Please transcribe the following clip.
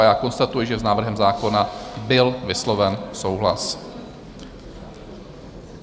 A já konstatuji, že s návrhem zákona byl vysloven souhlas.